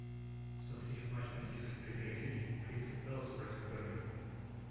смотреть матч английской премьер лиги кристал пэлас против бернли